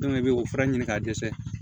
i bɛ o fana ɲini k'a dɛsɛ